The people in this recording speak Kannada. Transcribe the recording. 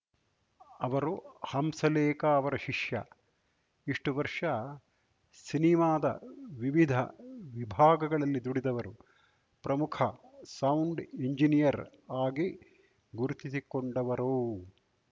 ಅವರು ಹಂಸಲೇಖ ಅವರ ಶಿಷ್ಯ ಇಷ್ಟುವರ್ಷ ಸಿನಿಮಾದ ವಿವಿಧ ವಿಭಾಗಗಳಲ್ಲಿ ದುಡಿದವರು ಪ್ರಮುಖ ಸೌಂಡ್‌ ಇಂಜಿನಿಯರ್‌ ಆಗಿ ಗುರುತಿಸಿಕೊಂಡವರು